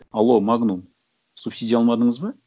алло магнум субсидия алмадыңыз ба